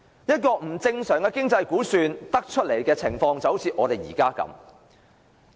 不正常的經濟估算，導致我們目前出現的情況。